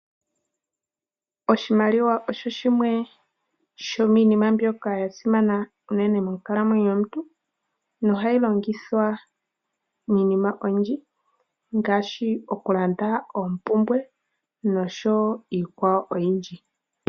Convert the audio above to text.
Oshimaliwa osho shimwe shomiinima mbyoka yasimana unene monkalamwenyo yomuntu, nohashi longithwa miinima oyindji, ngaashi okulanda oompumbwe noshowo iikwawo oyindji.